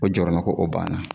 O jɔrɔna ko, o banna.